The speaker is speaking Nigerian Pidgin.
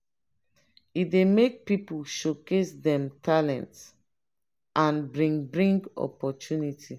e dey make people showcase dem talent and bring bring opportunity.